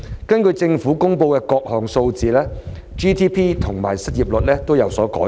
根據政府公布的各項數字 ，GDP 及失業率已有所改善。